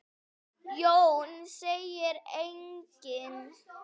Jón segir einnig